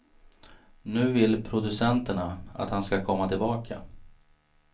Nu vill producenterna att han ska komma tillbaka.